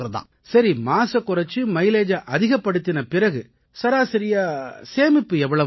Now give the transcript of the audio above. சரி மாசைக் குறைச்சு மைலேஜை அதிகப்படுத்தின பிறகு சராசரியா சேமிப்பு எவ்வளவு ஆகும்